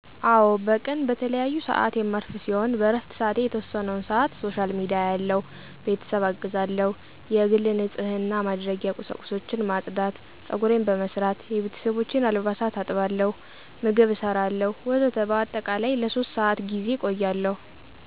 አወ በቀን በተለያዪሰአት የማርፍ ሲሆን በእረፍትሰአቴ የተወሰነወን ሰአት ሶሻል ሚዲያ አያለሁ፣ ቤተሰብአግዛለሁ፣ የግል ንጽህናማድረጊያ ቂሳቁሶችን ማጽዳት፣ ጸጉሬን በመሰራት፣ የቤተሰቦቸን አልባሳት አጥባለሁ፣ ምግብ እሰራለሁ ወዘተ በአጠቃላይለ3በአጠቃላይ ለሶስት ሰአት ጌዜ እቆያለሁ።